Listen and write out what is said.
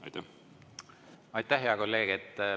Aitäh, hea kolleeg!